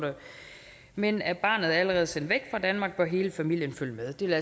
men er barnet allerede sendt væk fra danmark bør hele familien følge med det vil